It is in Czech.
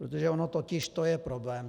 Protože ono totiž to je problém.